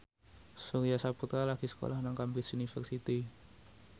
Surya Saputra lagi sekolah nang Cambridge University